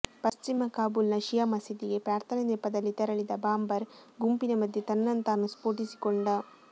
ಪಶ್ಚಿಮ ಕಾಬೂಲ್ನ ಶಿಯಾ ಮಸೀದಿಗೆ ಪ್ರಾರ್ಥನೆ ನೆಪದಲ್ಲಿ ತೆರಳಿದ ಬಾಂಬರ್ ಗುಂಪಿನ ಮಧ್ಯೆ ತನ್ನನ್ನು ತಾನು ಸ್ಫೋಟಿಸಿಕೊಂಡ